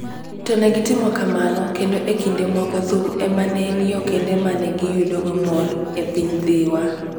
To ne gitimo kamano, kendo e kinde moko thum ema ne en yo kende ma ne giyudogo mor e piny Dhiwa.